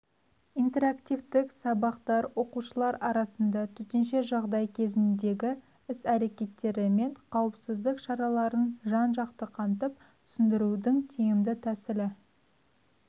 интерактивтік сабақтар оқушылар арасында төтенше жағдай кезіндегі іс-әрекеттері мен қауіпсіздік шараларын жан-жақты қамтып түсіндірудің тиімді тәсілі